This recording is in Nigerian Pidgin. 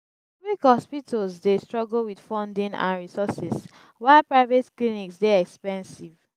public hospitals dey struggle with funding and resources while private clinics dey expensive.